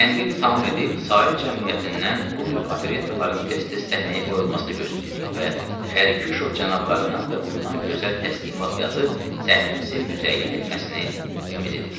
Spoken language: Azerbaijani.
Tənqidi tamam edib, sair cəmiyyətindən bu növ operettaların tez-tez səhnəyə qoyulmasını gözləyirik və Xərküşov cənablarından da bundan gözəl təsnifat yazıb, səhnəmizi müzəyyən etməsini ümid edirik.